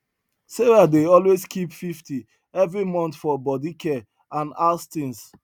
sarah dey always keep 50 every month for body care and house things